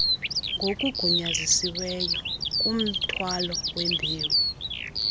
ngokugunyazisiweyo kumthwalo wembewu